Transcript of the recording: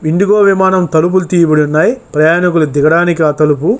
IndiGo విమానం తలుపులు తీయబడి ఉన్నాయి. ప్రయాణికులు దిగడానికి ఆ తలుపు.